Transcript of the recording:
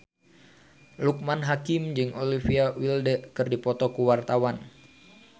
Loekman Hakim jeung Olivia Wilde keur dipoto ku wartawan